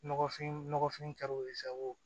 Nɔgɔfin nɔgɔfin ka di u ye sago